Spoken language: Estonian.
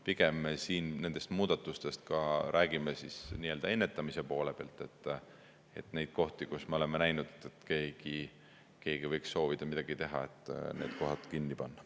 Pigem me räägime siin nendest muudatustest nii-öelda ennetamise poole pealt, et need kohad, kus me oleme näinud, et keegi võiks soovida midagi teha, kinni panna.